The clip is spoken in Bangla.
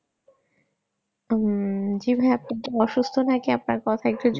উম জি ভাইয়া আপনি কি অসুস্থ আপনার কথা জরাইয়া আসছে